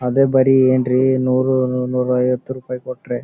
ಅದೇ ಬರಿ ಏನ್ ರೀ ನೂರು ನೂರ್ ಐವತು ರೂಪಾಯಿ ಕೊಟ್ರೆ--